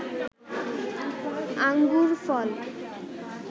আঙ্গুর ফল